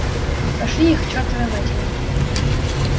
пошли их к чертовой матери